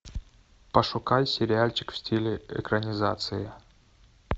пошукай сериальчик в стиле экранизация